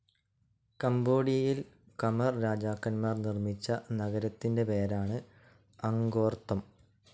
കംബോഡിയയിൽ Khmer രാജാക്കന്മാർ നിർമിച്ച നഗരത്തിൻ്റെ പേരാണ് അങ്കോർത്ഥം.